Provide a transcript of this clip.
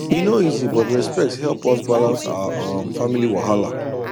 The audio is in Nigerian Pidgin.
e no easy but respect help us balance our um family wahala